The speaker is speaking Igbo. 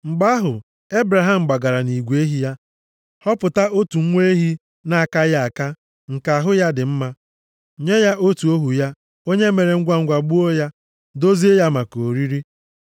Mgbe ahụ, Ebraham gbagara nʼigwe ehi ya, họpụta otu nwa ehi na-akaghị aka nke ahụ ya dị mma, nye ya otu ohu ya onye mere ngwangwa gbuo ya, dozie ya maka oriri.